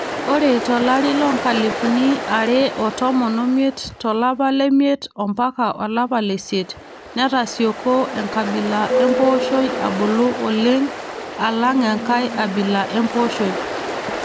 Ore tolari loonkalifuni are otomon omiet to lapa le miet mpaka olapa leisiet netasioko enkabila empooshoi abulu oleng alang enkae abila empooshoi